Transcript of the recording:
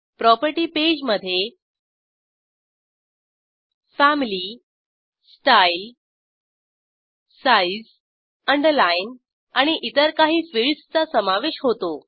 property page मधे family style size underline आणि इतर काही फिल्डसचा समावेश होतो